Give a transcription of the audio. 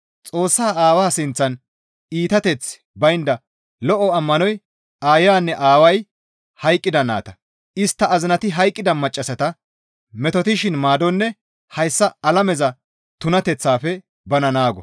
Xoossaa Aawaa sinththan iitateththi baynda lo7o ammanoy aayanne aaway hayqqida nayta, istta azinati hayqqida maccassata metotettishin maadonne hayssa alameza tunateththaafe bana naago.